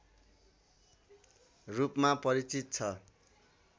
रूपमा परिचित छ